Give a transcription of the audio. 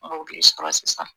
Mɔbili sɔrɔ sisan